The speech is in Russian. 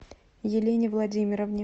елене владимировне